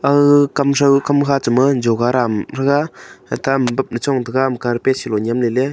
aga kamkha kamthow cha ma joga dam tega ata ama bab chong tega ama carpet sa low nyem le le.